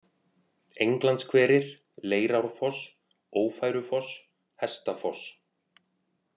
Englandshverir, Leirárfoss, Ófærufoss, Hestafoss